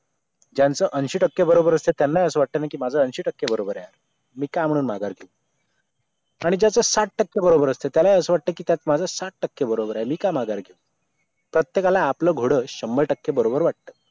ज्यांचं ऐंशी टक्के बरोबर असतं त्यांना असं वाटतं न कि माझं ऐंशी टक्के बरोबर आहे मी का म्हणून माघार घेऊ आणि ज्याचा साठ टक्के बरोबर असतं त्याला असं वाटतं की त्यात माझा साठ टक्के बरोबर आहे मी का माघार घेऊ प्रत्येकाला आपला घोड शंबर टक्के बरोबर वाटतं